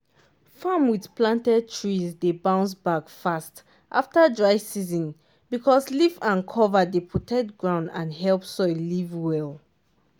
farm with planted trees dey bounce back fast after dry season because leaf and cover dey protect ground and help soil live well.